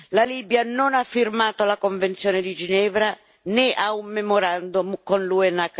La Libia non ha firmato la convenzione di Ginevra, né ha un memorandum con l'UNHCR.